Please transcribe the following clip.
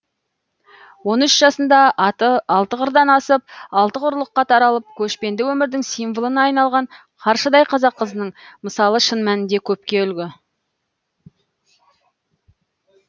он үш жасында аты алты қырдан асып алты құрлыққа таралып көшпенді өмірдің символына айналған қаршадай қазақ қызының мысалы шын мәнінде көпке үлгі